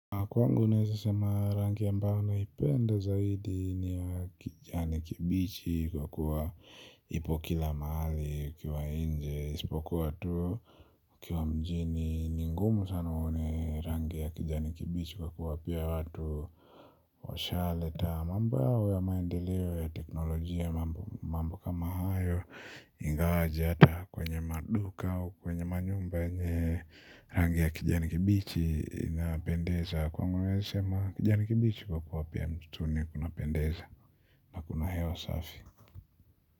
Kwangu naweza sema rangi ambayo naipenda zaidi ni ya kijani kibichi kwa kuwa ipo kila mahali, kwa nje, isipokuwa tu kwa mjini ni ngumu sana uone rangi ya kijani kibichi kwa kuwa pia watu washa leta mambo yao ya maendeleo ya teknolojia mambo kama hayo ingawaje ata kwenye maduka au kwenye manyumba yenye rangi ya kijani kibichi inapendeza. Kwangu naweza sema kijani kimbichi kwa kuwa pia ni kitu ni kinapendeza kuna hewa safi.